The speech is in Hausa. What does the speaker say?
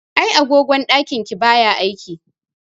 Ai agogon ɗakin ki baya aiki.